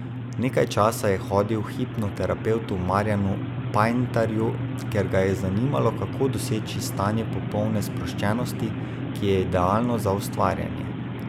Nekaj časa je hodil k hipnoterapevtu Marjanu Pajntarju, ker ga je zanimalo, kako doseči stanje popolne sproščenosti, ki je idealno za ustvarjanje.